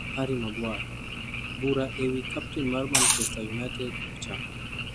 Harry Maguire: bura ewi kapten mar Manchester United ochako